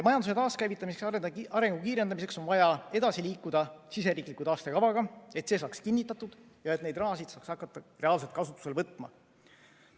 Majanduse taaskäivitamiseks ja arengu kiirendamiseks on vaja edasi liikuda siseriikliku taastekavaga, et see saaks kinnitatud ja et seda raha saaks hakata reaalselt kasutusele võtma.